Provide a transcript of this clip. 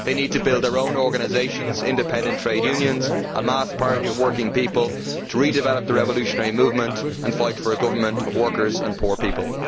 They need to build their own organisations and independent trade unions a mass party of working people to redevelop the revolutionary movement and fight for a government of workers and poor people.